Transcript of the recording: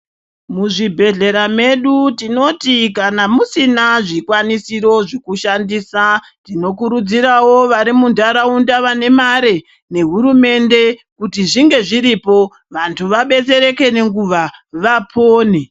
Muzvibhedhlera medu tinoti kana musina zvikwanisiro zvekushandisa tinokurudzirwwo vari muntaraunta vane mare nehurumende kuti zvinge zviripo vantu vabetsereke nenguwa vapone.